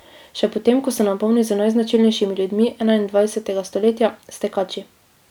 Še potem ko se napolni z najznačilnejšimi ljudmi enaindvajsetega stoletja, s tekači.